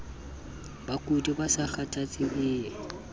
bakudi ba sa kgathatseng ie